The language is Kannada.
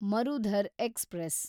ಮರುಧರ್ ಎಕ್ಸ್‌ಪ್ರೆಸ್